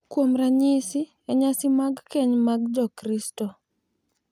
Kuom ranyisi, e nyasi mag keny mag Jokristo, .